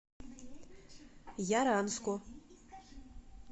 яранску